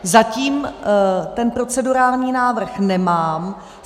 Zatím ten procedurální návrh nemám.